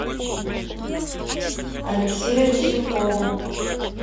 алексею лесникову